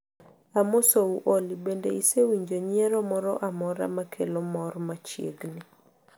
Amosou olly bende isewinjo nyiero moro amora ma kelo mor machiegni